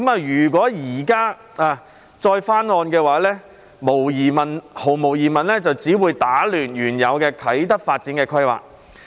如果現時再翻案，毫無疑問只會打亂原有的啟德發展規劃。